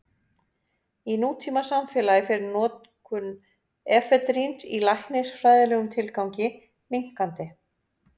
Í nútímasamfélagi fer notkun efedríns í læknisfræðilegum tilgangi minnkandi.